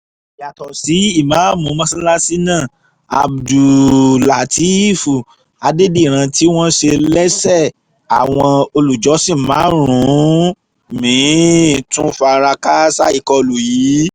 yàtọ̀ sí ìmáàmù mọ́sálásí náà abdul-látẹ́ẹ̀f àdèdírán tí wọ́n ṣe lẹ́sẹ̀ àwọn olùjọ́sìn márùn-ún mi-ín tún fara kááṣá ìkọlù yìí